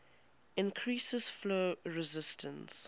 increase flow resistance